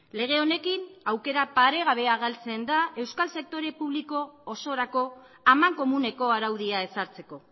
lege honekin aukera paregabea galtzen da euskal sektore publiko osorako amankomuneko araudia ezartzeko